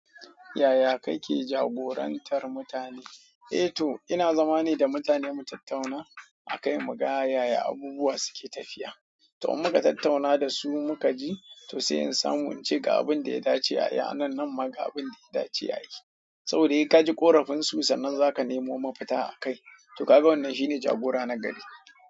Yaya kake jagorantar mutane? Eh to ina zama ne da mutane mu tattauna akai muga yaya abubuwa suke tafiya to in muka tattauna da su muka ji to sai in samu ince ga abin da ya dace a yi a nan nan ma ga abin da ya dace a yi. Saboda sai kaji ƙorafin su sannan zaka nemo mafita akai to kaga wannan shine jagora na gari.